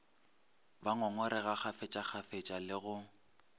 ba ngongorega kgafetšakgafetša le go